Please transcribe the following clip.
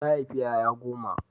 Ta haifi ƴaƴa goma.